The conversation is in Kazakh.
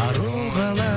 ару қала